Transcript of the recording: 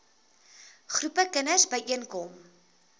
groepe kinders byeenkom